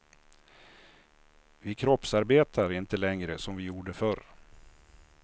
Vi kroppsarbetar inte längre som vi gjorde förr.